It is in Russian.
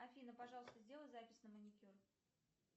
афина пожалуйста сделай запись на маникюр